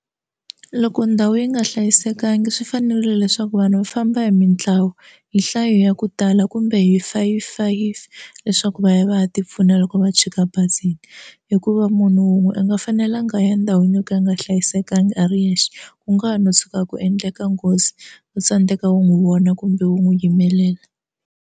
Loko ndhawu yi nga hlayisekanga swi fanerile leswaku vanhu va famba hi mintlawa hi nhlayo ya ku tala kumbe hi five five leswaku va ya va ya tipfuna loko va tshika bazi ina hikuva munhu wun'we a nga fanelangi a ya ndhawini yo ka yi nga hlayisekanga a ri yexe ku nga ha no suka ku endleka nghozi u tsandeka ku n'wi vona kumbe u n'wi yimelela.